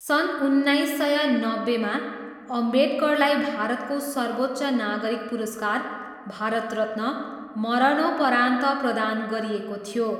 सन् उन्नाइस सय नब्बेमा अम्बेडकरलाई भारतको सर्वोच्च नागरिक पुरस्कार भारत रत्न, मरणोपरान्त प्रदान गरिएको थियो।